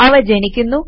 അവ ജനിക്കുന്നു